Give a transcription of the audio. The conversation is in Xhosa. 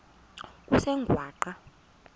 kusengwaqa